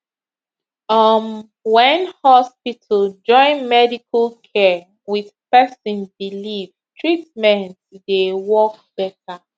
uhm when hospital join medical care with person believe treatment dey work better